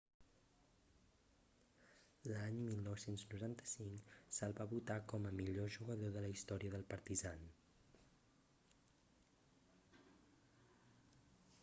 l'any 1995 se'l va votar com a millor jugador de la història del partizan